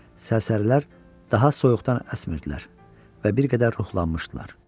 Sərsərilər daha soyuqdan əsmirdilər və bir qədər ruhlanmışdılar.